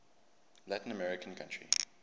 latin american country